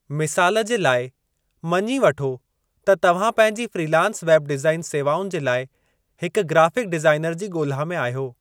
मिसालु जे लाइ, मञी वठो त तव्हां पंहिंजी फ्रीलांस वेब डिज़ाइन सेवाउनि जे लाइ हिकु ग्राफ़िक डिज़ाइनर जी ॻोल्हा में आहियो।